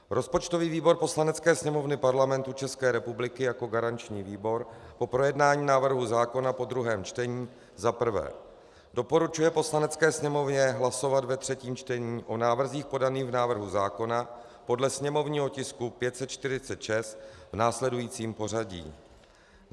Rozpočtový výbor Poslanecké sněmovny Parlamentu České republiky jako garanční výbor po projednání návrhu zákona po druhém čtení za prvé doporučuje Poslanecké sněmovně hlasovat ve třetím čtení o návrzích podaných v návrhu zákona podle sněmovního tisku 546 v následujícím pořadí.